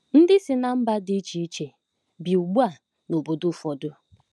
Ndị si ná mba dị iche iche bi ugbu a n'obodo ụfọdụ.